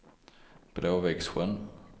Blåviksjön